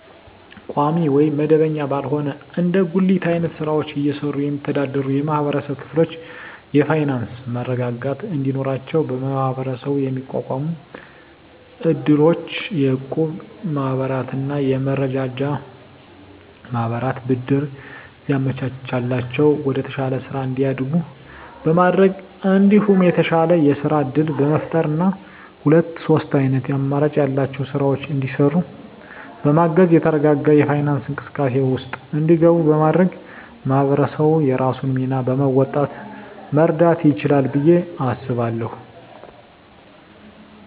ቋሚ ወይም መደበኛ ባልሆነ እንደ ጉሊት አይነት ስራወችን እየሰሩ የሚስተዳደሩ የማህበረሰብ ክፍሎች የፋይናንሰ መረጋጋት እንዲኖራቸው በመሀበረሰቡ የሚቋቋሙ እድሮች፣ የእቁብ ማህበራትና የመረዳጃ ማህበራት ብድር እያመቻቸላቸው ወደተሻለ ስራ እንዲያድጉ በማድረግ እንዲሁም የተሻለ የስራ እድል በመፍጠርና ሁለት ሶስት አይነት አማራጭ ያላቸውን ስራወች እንዲሰሩ በማገዝ የተረጋጋ የፋይናንስ እንቅስቃሴ ውስጥ እንዲገቡ በማድረግ ማህበረሰቡ የራሱን ሚና በመወጣት መርዳት ይችላል ብየ አስባለሁ።